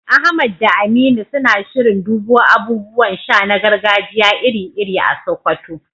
Ahmad da Aminu suna shirin dubo abubuwan sha na gargajiya iri-iri a Sokoto